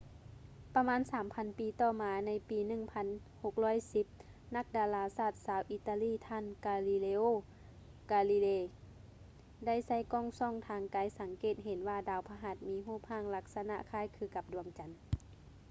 ປະມານສາມພັນປີຕໍ່ມາ ໃນປີ 1610 ນັກດາລາສາດຊາວອີຕາລີ ທ່ານ ກາລີເລໂອ ກາລີເລ galileo galilei ໄດ້ໃຊ້ກ້ອງສ່ອງທາງໄກສັງເກດເຫັນວ່າດາວພະຫັດມີຮູບຮ່າງລັກສະນະຄ້າຍຄືກັບດວງຈັນ